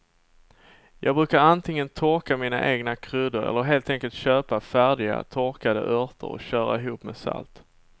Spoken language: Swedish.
Jag brukar antingen torka mina egna kryddor eller helt enkelt köpa färdiga torkade örter och köra ihop med salt.